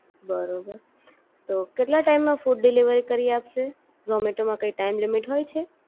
બરોબર, તો કેટલા ટાઈમ માં ફૂડ ડિલિવરી કરી આપશે, ઝૉમેટો મા કઈ ટાઈમ લિમિટ હોય છે.